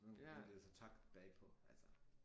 Så og det var så takket bagpå altså